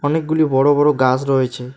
অনেকগুলি বড়ো বড়ো গাছ রয়েছে।